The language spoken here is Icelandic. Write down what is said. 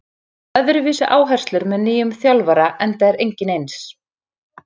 Það eru öðruvísi áherslur með nýjum þjálfara enda er enginn eins.